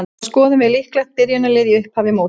Þá skoðum við líklegt byrjunarlið í upphafi móts.